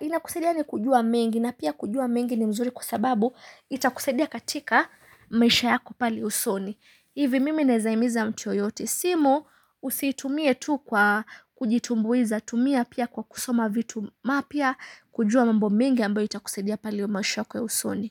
inakusaidia yani kujua mengi na pia kujua mengi ni mzuri kwa sababu itakusaidia katika maisha yako pale usoni. Hivi mimi ninaweza himiza mtu yeyote simu usiitumie tu kwa kujitumbuiza, tumia pia kwa kusoma vitu mapya kujua mambo mingi ambayo itakuzadia pale maisha yako ya usoni.